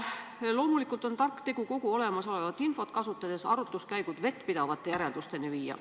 Loomulikult on tark tegu kogu olemasolevat infot kasutades arutluskäigud vettpidavate järeldusteni viia.